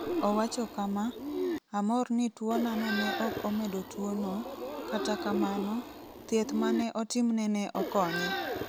Owacho kama, 'Amor ni tuwonano ne ok omedo tuwono, kata kamano, thieth ma ne otimne ne okonye.